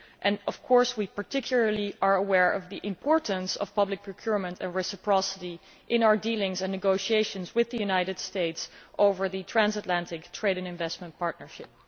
We are, of course, particularly aware of the importance of public procurement and reciprocity in our dealings and negotiations with the United States over the Transatlantic Trade and Investment Partnership.